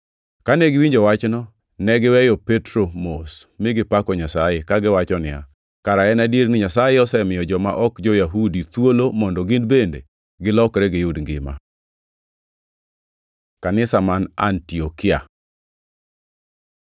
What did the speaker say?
Kane giwinjo wachno, ne giweyo Petro mos mi gipako Nyasaye, kagiwacho niya, “Kara en adier ni Nyasaye osemiyo joma ok jo-Yahudi thuolo mondo gin bende gilokre giyud ngima.” Kanisa man Antiokia